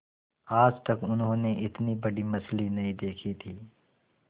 आज तक उन्होंने इतनी बड़ी मछली नहीं देखी थी